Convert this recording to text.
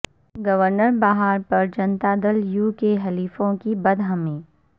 governor Bihar per Janata Dal you کے حلیفوں کی برہمی